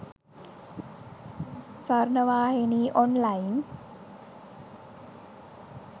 sawarnawahini online